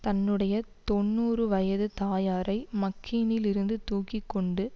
தன்னுடைய தொன்னூறு வயது தாயாரை மக்கீனில் இருந்து தூக்கி கொண்டு